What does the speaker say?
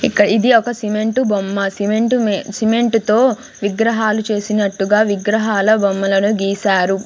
ఇంకా ఇది ఒక సిమెంట్ బొమ్మ సిమెంట్ సిమెంట్ తో విగ్రహాలు చేసినట్టుగా విగ్రహాల బొమ్మలను గీశారు.